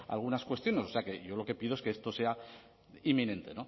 algunas cuestiones o sea que yo lo que pido es que esto sea inminente